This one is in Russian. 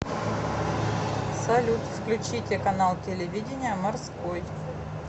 салют включите канал телевидения морской